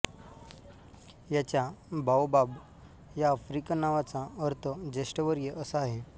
याच्या बाओबाब या आफ्रिकन नावाचा अर्थ ज्येष्ठवर्य असा आहे